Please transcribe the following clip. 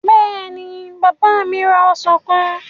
Bẹ́ẹ̀ni, bàbá mi ra ọsàn kan.